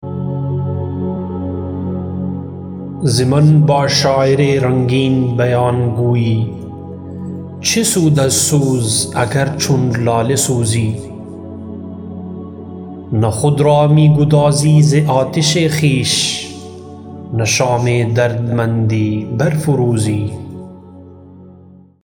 ز من با شاعر رنگین بیان گوی چه سود از سوز اگر چون لاله سوزی نه خود را می گدازی ز آتش خویش نه شام دردمندی بر فروزی